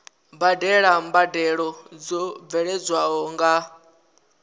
badela mbadelo dzo bveledzwaho nga